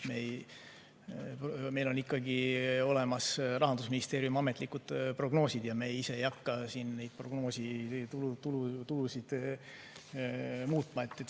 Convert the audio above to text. Meil on ikkagi olemas Rahandusministeeriumi ametlikud prognoosid ja me ise ei hakka siin neid tulude prognoose muutma.